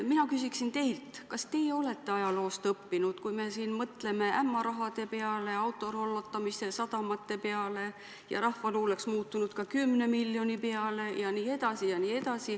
Mina küsiksin teilt, kas teie olete ajaloost õppinud, kui me mõtleme siin ämma raha peale, autorollotamise, sadamate peale, juba rahvaluuleks muutunud kümne miljoni peale jne.